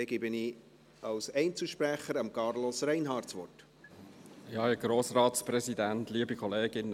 Dann gebe ich Carlos Reinhard als Einzelsprecher das Wort.